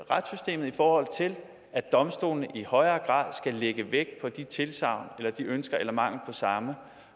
retssystemet i forhold til at domstolene i højere grad skal lægge vægt på de tilsagn eller de ønsker eller mangel på samme